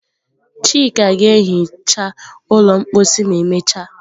Chika ga-ehicha ụlọ mposi ma emechaa.